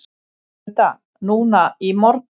Hulda: Núna í morgun?